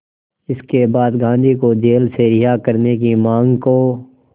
इसके बाद गांधी को जेल से रिहा करने की मांग को